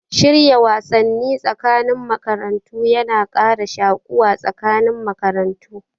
Shirya wasanni tsakanin makarantu yana kara shuƙuwa tsakanin makarantu